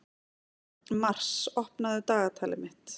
Mars, opnaðu dagatalið mitt.